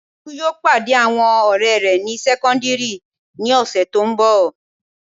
Tolú yóò pàdé àwọn ọ̀rẹ́ rẹ̀ ní sẹ́kọ́ndíìrì ní ọ̀sẹ̀ tó n bọ̀